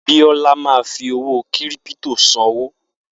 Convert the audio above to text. Biola ma fi owó kírípítò sanwó